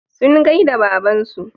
Sun gaida babansu.